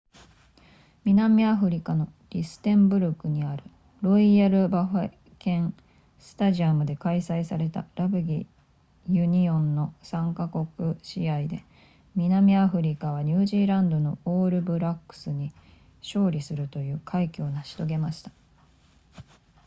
南アフリカのルステンブルグにあるロイヤルバフォケンスタジアムで開催されたラグビーユニオンの3か国試合で南アフリカはニュージーランドのオールブラックスに勝利するという快挙を成し遂げました